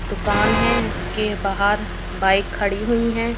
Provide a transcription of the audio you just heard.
दुकान है इसके बाहर बाइक खड़ी हुई हैं।